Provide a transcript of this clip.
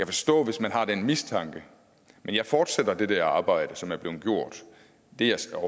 forstå hvis man har den mistanke men jeg fortsætter det arbejde som er blevet gjort det jeg så